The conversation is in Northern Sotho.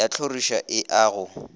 ya tlhorišo e a go